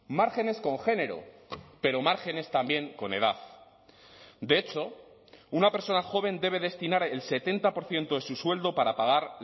márgenes con género pero márgenes también con edad de hecho una persona joven debe destinar el setenta por ciento de su sueldo para pagar